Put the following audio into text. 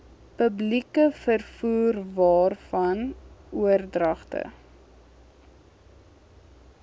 publieke vervoerwaarvan oordragte